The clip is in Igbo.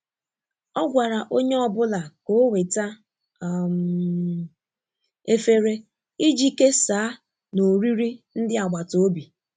Ọ gwara onye ọ bụla ka o weta um efere iji kesaa na oriri ndi agbata obi.